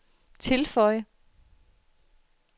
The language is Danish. tilføj